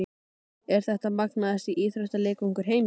Er þetta magnaðasti íþróttaleikvangur heims?